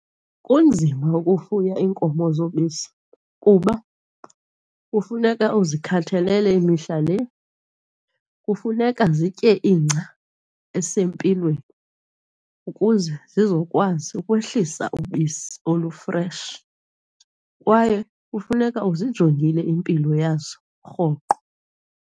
Kunzima ukufuya iinkomo zobisi kuba kufuneka uzikhathalele mihla le, kufuneka zitye ingca esempilweni ukuze zizokwazi ukwehlisa ubisi olufreshi kwaye kufuneka uzijongile impilo yazo rhoqo.